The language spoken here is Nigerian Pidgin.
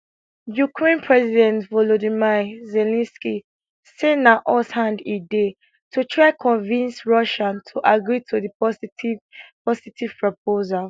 ukraine president volodymyr zelensky say na us hand e dey to try convince russia to agree to di positive positive proposal